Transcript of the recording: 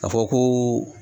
Ka fɔ ko